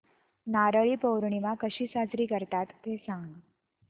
नारळी पौर्णिमा कशी साजरी करतात ते सांग